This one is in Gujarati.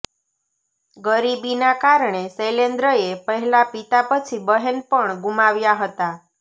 ગરીબીના કારણે શૈલેન્દ્રએ પહેલાં પિતા પછી બહેન પણ ગુમાવ્યાં હતાં